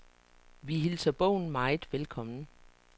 Vi hilser bogen meget velkommen.